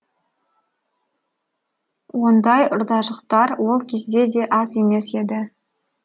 ондай ұрдажықтар ол кезде де аз емес еді